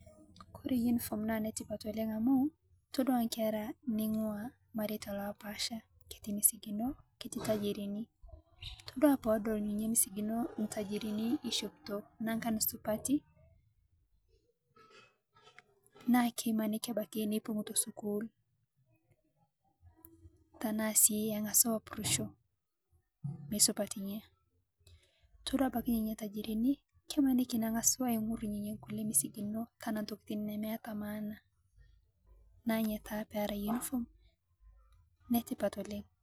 Kore unifom naa netipat oleng amu itodua nkeraa neing'ua lmareeta lopaasha ketii misikinoo ketii ltaajirini. Itodua poo odol nenia misikinoo ltaajirini eishopitoo naankan supati naa keimaniki abaaki neipung'u to sukuul tana sii aing'asu apurushoo mesupatie. Itodua abaki ninyee ltaajirini kemaaniki aing'urr nkulee misikinoo tana ntokiin nemeeta maana naa enyaa tana pee eraa unifom netipat oleng.